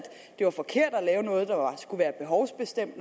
det var forkert at lave noget der er behovsbestemt